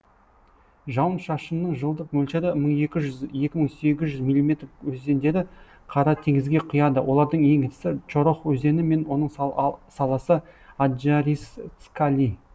жауын шашынның жылдық мөлшері мың екң жүз екі мың сегіз жүз миллиметр өзендері қара теңізге құяды олардың ең ірісі чорох өзені мен оның саласы аджарисцкали